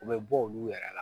U bɛ bɔ olu yɛrɛ la